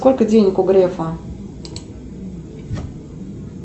сколько денег у грефа